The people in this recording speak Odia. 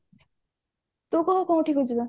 ତୁ କହ କୋଉଠି କି ଯିବା